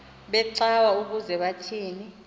becawa ukuze kuthini